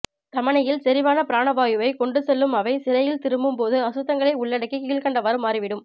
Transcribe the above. தமணியில் செறிவான பிராணவாயுவை கொண்டு செல்லும் அவை சிரையில் திரும்பும் போது அசுத்தங்களை உள்ளடக்கி கீழ்கண்டவாறு மாறிவிடும்